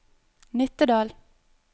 Nittedal